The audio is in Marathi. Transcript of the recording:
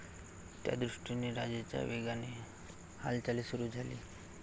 त्यादृष्टीने राजाच्या वेगाने हालचाली सुरु झाली.